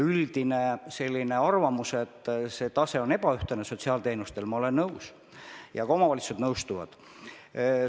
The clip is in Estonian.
Üldine arvamus on, et sotsiaalteenuste tase on ebaühtlane, ja ma olen sellega nõus ning ka omavalitsused nõustuvad sellega.